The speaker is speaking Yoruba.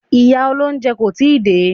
Ìyá olóúnjẹ kò tíì dé.